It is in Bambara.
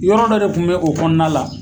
Yɔrɔ dɔ de kun bɛ o kɔnɔna la.